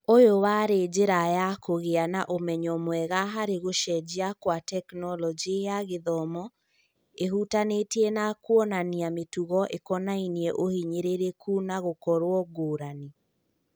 ũyũ warĩ njĩra ya kũgĩa na ũmenyo mwega harĩ gũcenjia kwa Tekinoronjĩ ya Gĩthomo ĩhutanĩtie na kuonania mĩtugo ikĩonania ũhinyĩrĩrĩku na gũkorwo ngũrani.